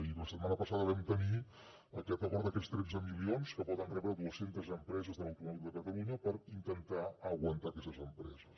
i la setmana passada vam tenir aquest acord d’aquests tretze milions que poden rebre dues centes empreses de l’automòbil de catalunya per intentar aguantar aquestes empreses